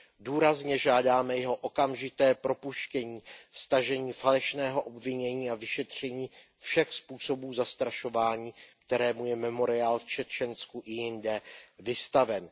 Důrazně žádáme jeho okamžité propuštění, stažení falešného obvinění a vyšetření všech způsobů zastrašování, kterému je Memoriál v Čečensku i jinde vystaven.